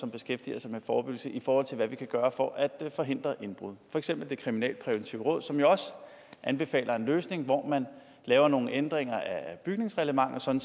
beskæftiger sig med forebyggelse i forhold til hvad vi kan gøre for at forhindre indbrud for eksempel det kriminalpræventive råd som jo også anbefaler en løsning hvor man laver nogle ændringer af bygningsreglementet sådan